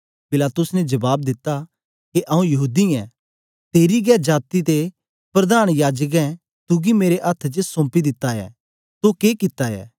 पिलातुस ने जबाब दिता के आऊँ यहूदी यै तेरी गै जाती ते प्रधान याजकें तुगी मेरे अथ्थ च सोंपे दा ऐ तो के कित्ता ऐ